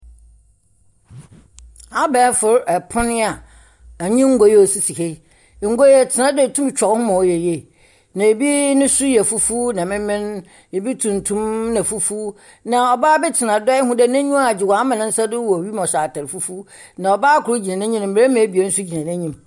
Abɛɛfo pon a dɛm ngua a osisi ha. Ngua yi tena do a itum twa wo ho ma ɔyɛ yie. Na ebi nso yɛ fufuw na memen. Ebi tuntum na fufuw. Na ɔbaa bi tena do a ihu dɛ n'enyi agye. Ɔama ne nsa do akɔ wim a ɔhyɛ atar fufuw na ɔbaa kor gtina n'enyim na mbarima abien nso gyina n'enyim.